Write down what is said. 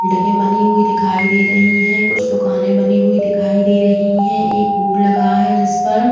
बनी हुई दिखा दे रही हैं। कुछ दुकाने बनी हुई दिखाई दे रही हैं। एक बोर्ड लगा है जिस पर --